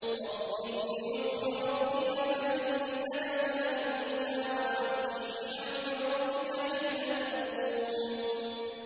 وَاصْبِرْ لِحُكْمِ رَبِّكَ فَإِنَّكَ بِأَعْيُنِنَا ۖ وَسَبِّحْ بِحَمْدِ رَبِّكَ حِينَ تَقُومُ